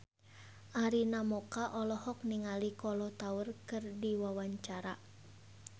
Arina Mocca olohok ningali Kolo Taure keur diwawancara